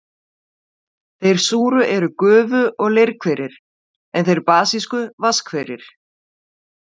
Þeir súru eru gufu- og leirhverir, en þeir basísku vatnshverir.